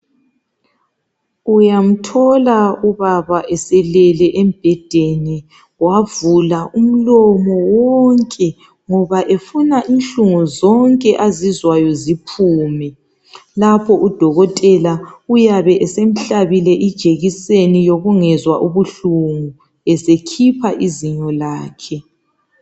Uyamthola ubaba eselele embhedeni, wavula umlomo wonke ngoba efuna inhlungu zonke azizwayo ziphume, lapho uDokotela uyabe esemhlabile ijekiseni yokungezwa ubuhlungu esekhipha izinyo lakhe.